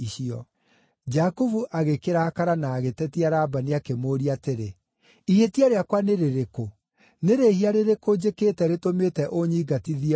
Jakubu agĩkĩrakara na agĩtetia Labani, akĩmũũria atĩrĩ, “Ihĩtia rĩakwa nĩ rĩrĩkũ? Nĩ rĩhia rĩrĩkũ njĩkĩte rĩtũmĩte ũnyingatithie ũguo?